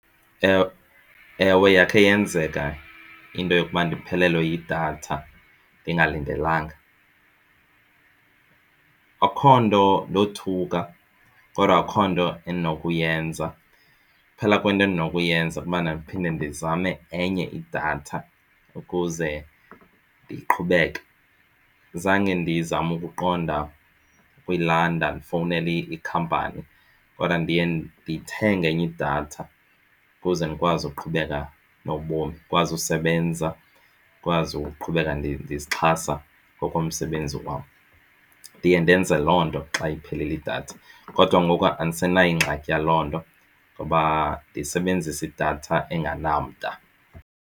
Ewe, ewe, yakhe yenzeka into yokuba ndiphelelwe yidatha ndingalindelanga. Akho nto ndothuka kodwa akukho nto endinokuyenza kuphela kwento endinokuyenza kukubana ndiphinde ndizame enye idatha ukuze ndiqhubeke. Zange ndizame ukuqonda ukuyilanda ndifowunele ikhampani kodwa ndiye ndithenge enye idatha ukuze ndikwazi ukuqhubeka nobomi. Ndikwazi usebenza ndikwazi ukuqhubeka ndizixhasa ngokomsebenzi wam. Ndiye ndenze loo nto xa iphelile idatha, kodwa ngoku andisenayo ingxaki yaloo nto ngoba ndisebenzisa idatha engenamda.